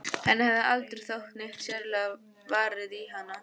Henni hafði aldrei þótt neitt sérlega varið í hann.